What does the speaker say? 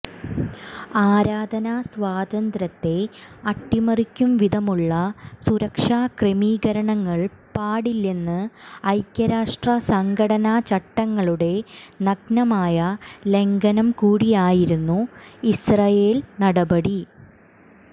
ആരാധനാസ്വാതന്ത്യ്രത്തെ അട്ടിമറിക്കുംവിധമുള്ള സുരക്ഷാക്രമീകരണങ്ങള് പാടില്ലെന്ന ഐക്യരാഷ്ട്രസംഘടനാ ചട്ടങ്ങളുടെ നഗ്നമായ ലംഘനംകൂടിയായിരുന്നു ഇസ്രയേല് നടപടി